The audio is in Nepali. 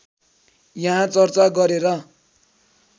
यहाँ चर्चा गरेर